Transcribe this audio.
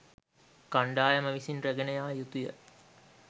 කණ්ඩායම විසින් රැගෙන යා යුතුය.